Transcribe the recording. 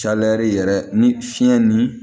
yɛrɛ ni fiɲɛ ni